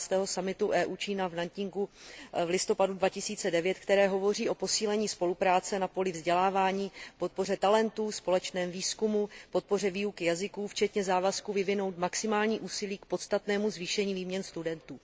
12. summitu EU Čína v Nanjingu v listopadu 2009, které hovoří o posílení spolupráce na poli vzdělávání, podpoře talentů, společném výzkumu, podpoře výuky jazyků včetně závazku vyvinout maximální úsilí k podstatnému zvýšení výměn studentů.